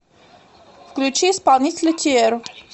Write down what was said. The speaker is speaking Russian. включи исполнителя тиэр